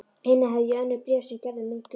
Einnig hafði ég önnur bréf sem Gerður geymdi.